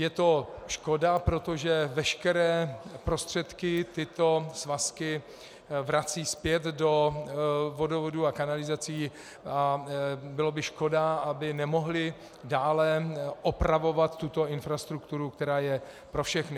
Je to škoda, protože veškeré prostředky tyto svazky vracejí zpět do vodovodů a kanalizací a bylo by škoda, aby nemohly dále opravovat tuto infrastrukturu, která je pro všechny.